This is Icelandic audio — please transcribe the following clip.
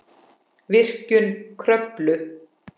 Virkjun Kröflu